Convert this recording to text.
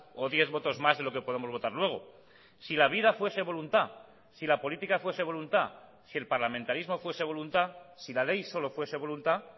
o diez votos más de lo que podemos votar luego si la vida fuese voluntad si la política fuese voluntad si el parlamentarismo fuese voluntad si la ley solo fuese voluntad